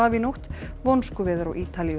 í nótt vonskuveður á Ítalíu